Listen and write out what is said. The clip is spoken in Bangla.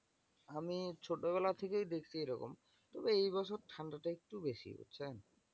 আমি ছোটবেলা থেকেই দেখছি এরকম তবে এই বছর ঠান্ডা তা একটু বেশি, বুঝছেন?